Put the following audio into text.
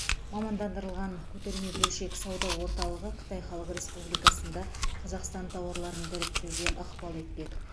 мамандандырылған көтерме бөлшек сауда орталығы қытай халық республикасында қазақстан тауарларын дәріптеуге ықпал етпек